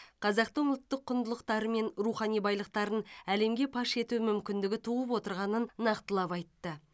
қазақтың ұлттық құндылықтары мен рухани байлықтарын әлемге паш ету мүмкіндігі туып отырғанын нақтылап айтты